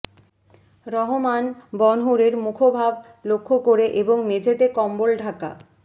রহমান বনহুরের মুখোভাব লক্ষ্য করে এবং মেঝেতে কম্বল ঢাকা